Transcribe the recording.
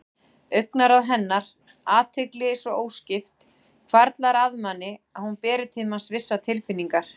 Augnaráð hennar, athygli svo óskipt, hvarflar að manni að hún beri til manns vissar tilfinningar.